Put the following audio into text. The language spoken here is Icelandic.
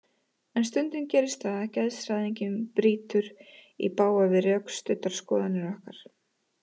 En stundum gerist það að geðshræring brýtur í bága við rökstuddar skoðanir okkar.